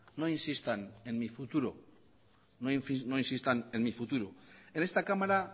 no insistan en mi futuro en esta cámara